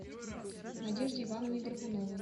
надежде ивановне горбуновой